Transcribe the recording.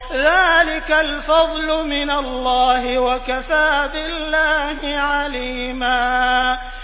ذَٰلِكَ الْفَضْلُ مِنَ اللَّهِ ۚ وَكَفَىٰ بِاللَّهِ عَلِيمًا